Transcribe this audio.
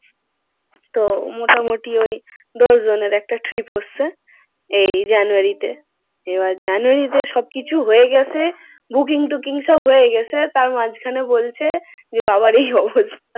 তো মোটামুটি ওই দশজনের একটা trip হচ্ছে। এই january তে এবার january তে সবকিছু হয়ে গেছে। booking টুকিং সব হয়ে গেছে তার মাঝখানে বলছে যে বাবার এই অবস্থা।